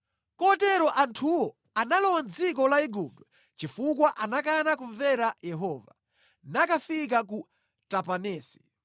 Kotero anthuwo analowa mʼdziko la Igupto chifukwa anakana kumvera Yehova, nakafika ku Tapanesi.